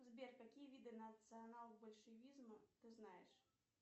сбер какие виды национал большевизма ты знаешь